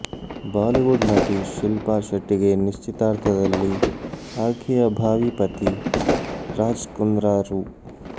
Bollywood ನಟಿ ಶಿಲ್ಪಾಶೆಟ್ಟಿಗೆ ನಿಶ್ಚಿತಾರ್ಥದಲ್ಲಿ ಆಕೆಯ ಭಾವಿ ಪತಿ ರಾಜ್ ಕುಂದ್ರಾ ರು